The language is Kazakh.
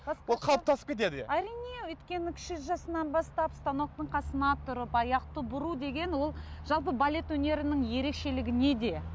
ол қалыптасып кетеді иә әрине өйткені кіші жасынан бастап станоктың қасына тұрып аяқты бұру деген ол жалпы балет өнерінің ерекшелігі неде